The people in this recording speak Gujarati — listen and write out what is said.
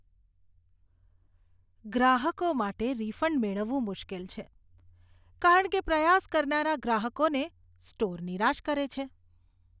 ગ્રાહકો માટે રિફંડ મેળવવું મુશ્કેલ છે કારણ કે પ્રયાસ કરનારા ગ્રાહકોને સ્ટોર નિરાશ કરે છે.